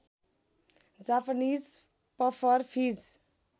Japanese puffer fees